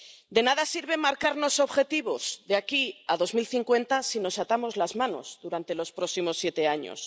De nada sirve marcarnos objetivos de aquí a 2050 si nos atamos las manos durante los próximos siete años.